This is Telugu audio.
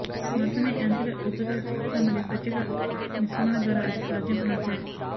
మాత్రమే యాంత్రిక ఉపరితల చికిత్స మరియు ప్రత్యేక మిశ్రమాల ద్వారా అది సాధ్యం నాశనం